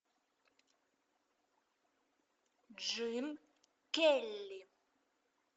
джин келли